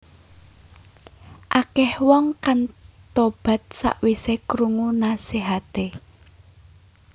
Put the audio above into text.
Akèh wong kang tobat sakwisé krungu nasihaté